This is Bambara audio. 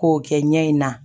K'o kɛ ɲɛ in na